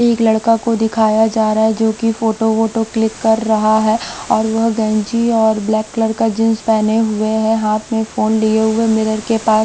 एक लड़का को दिखाया जा रहा हैं जो कि फोटो वोटो क्लिक कर रहा हैं और वह गंजी और ब्लैक कलर का जींस पहने हुए हैं हाथ में फोन लिए हुए मिरर के पास--